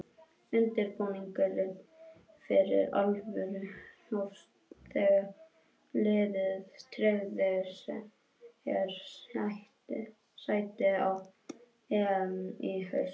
Undirbúningurinn fyrir alvöru hófst þegar liðið tryggði sér sæti á EM í haust.